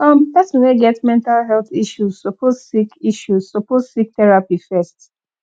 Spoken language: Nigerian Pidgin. um pesin wey get mental health issue suppose seek issue suppose seek therapy fast